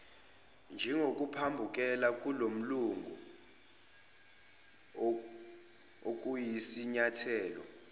kokuphambukela kulomgudu okuyisinyathelo